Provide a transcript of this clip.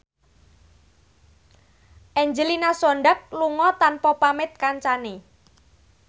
Angelina Sondakh lunga tanpa pamit kancane